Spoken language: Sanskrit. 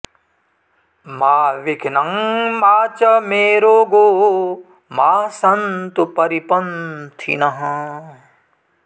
मा विघ्नं मा च मे रोगो मा सन्तु परिपन्थिनः